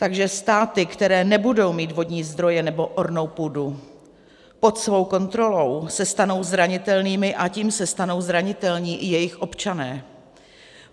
Takže státy, které nebudou mít vodní zdroje nebo ornou půdu pod svou kontrolou, se stanou zranitelnými, a tím se stanou zranitelní i jejich občané.